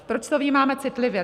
Proč to vnímáme citlivě?